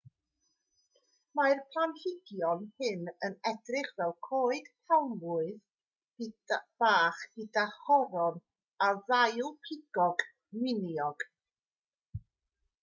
mae'r planhigion hyn yn edrych fel coed palmwydd bach gyda choron o ddail pigog miniog